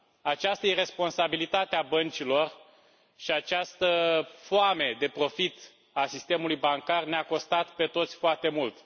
Această iresponsabilitate a băncilor și această foame de profit a sistemului bancar ne a costat pe toți foarte mult.